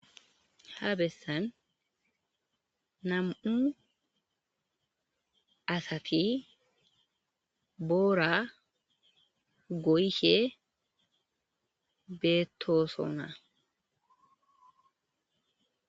ha bessan nam7u asafi boora goyishe beettooso naa